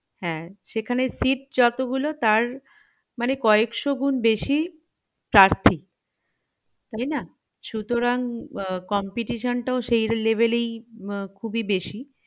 হ্যাঁ সেখানে sit জতোগুল তার মানে কয়েকশো গুন বেশি পার্থি তাই না সুতরাং উহ competition টাও সেই level এই খুবই বেশি